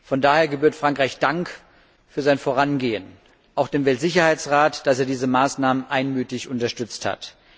Von daher gebührt Frankreich Dank für sein Vorangehen, auch dem Weltsicherheitsrat, dass er diese Maßnahmen einmütig unterstützt hat.